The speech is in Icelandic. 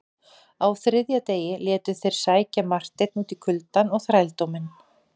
Á þriðja degi létu þeir sækja Marteinn út í kuldann og þrældóminn.